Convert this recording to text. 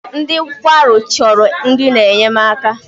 Ndị nkwarụ chọrọ nri na-enyemaka.